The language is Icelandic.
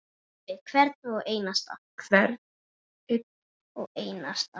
Sölvi: Hvern einn og einasta?